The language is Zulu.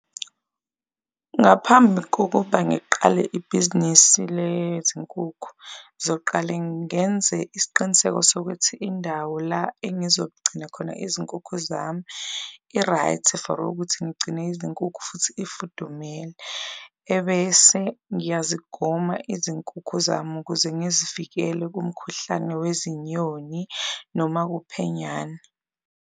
Ngaphambi kokuba ngiqale ibhizinisi lezinkukhu ngizoqale ngenze isiqiniseko sokuthi indawo la engizogcina khona izinkukhu zami i-right for ukuthi ngigcine izinkukhu futhi ifudumele, ebese ngiyazigoma izinkukhu zami ukuze ngizivikele kumkhuhlane wezinyoni noma uphenyane.